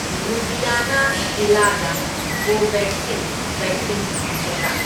ꯂꯨꯙꯤꯌꯥꯅꯥ ꯖꯤꯂꯥꯗ Covaxin vaccine ꯐꯪꯒꯗ꯭ꯔꯥ?